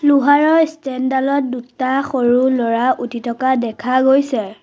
লোহাৰৰ ষ্টেণ্ড ডালত দুটা সৰু ল'ৰা উঠি থকা দেখা গৈছে।